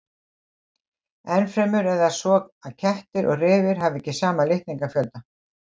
Ennfremur er það svo að kettir og refir hafa ekki sama litningafjölda.